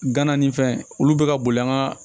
Gana ni fɛn olu bɛ ka boli an ka